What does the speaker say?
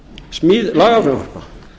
smíð lagafrumvarpa